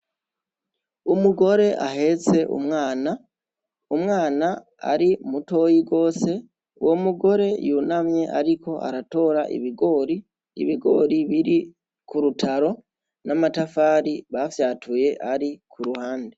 Umugore ahetse umwana, umwana ari mutoyi gose, uwo mugore yunamye ariko aratora ibigori, ibigori biri ku rutaro n'amatafari bafyatuye ari ku ruhande.